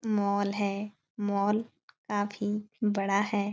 Mall है। Mall काफी बड़ा है।